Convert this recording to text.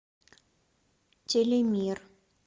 телемир